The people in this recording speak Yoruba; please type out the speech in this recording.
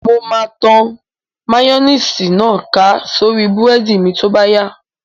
Mo máa tan máyóníìsì náà ká sórí búrẹ́dì mi tó bá yá